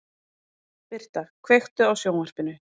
Birta, kveiktu á sjónvarpinu.